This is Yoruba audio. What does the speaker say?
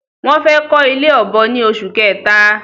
Wọ́n fẹ́ kọ́ ilé ọ̀bọ ni oṣù kẹta